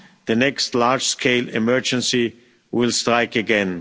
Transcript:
The next large scale emergency will strike again.